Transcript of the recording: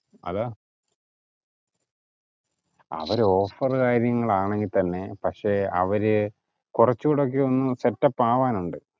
അതാ അവര് offer കാര്യങ്ങൾ ആണെങ്കിൽ തന്നെ പക്ഷെ അവര് കൊറച്ചു കൂടി ഒക്കെ ഒന്ന് set up ആവാനുണ്ട്